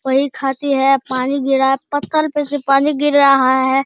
वही खाती है पानी गिरा पत्थल पे से पानी गिर रहा है।